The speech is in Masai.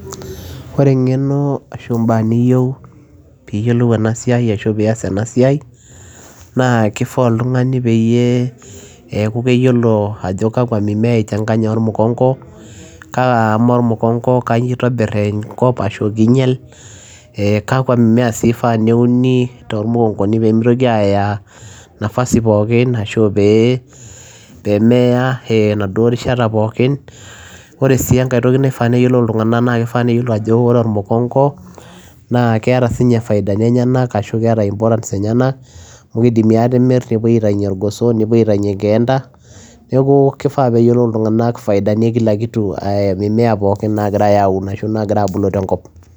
Ore eng'eno ashu mbaa niyeu piiyolou ena siai ashu pias ena siai naa kifaa oltung'ani peyie eeku keyiolo ajo kakwa mimea i changanya ormukong'o, kaamaa ormukong'o kanyo itobir te nkop ashu kinyel ee kakwa mimea sii ifaa peeuni tormukong'oni pee mitoki aya nafasi pookin ashu pee meeya enaduo rishata pookin. Ore sii enkae toki naifaa neyolou iltung'anak naake ifaa neyolou ajo kore ormukong'o naa keeta siinye faida ni enyenak ashu keeta siinye importance enyenak amu kidimi aatimir, nepuoi aitaunye irgoso, nepuoi aitaunye nkeenda. Neeku kifaa pee eyolou iltung'anak faida ni ee mimea pookin naagirai aun ashu naagira aabulu te nkop.